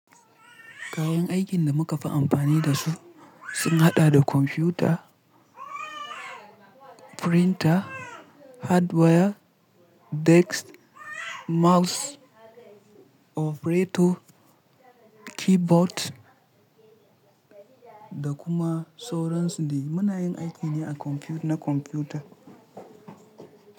Kayan aikin da muka fi amfani da su sun haɗa da kwamfuta, Printer, hardware, desk, mouse, operator, keyboard da kuma sauransu dai. Muna yin aiki ne na Computer.